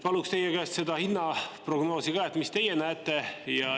Paluks teie käest seda hinnaprognoosi ka, et mis teie näete.